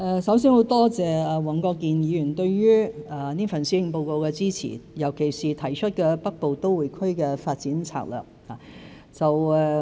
首先多謝黃國健議員對這份施政報告的支持，尤其是當中提出的《北部都會區發展策略》。